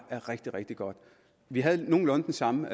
er rigtig rigtig godt vi havde nogenlunde den samme